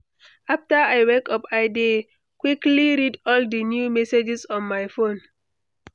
After I wake up, I dey quickly read all the new messages on my phone.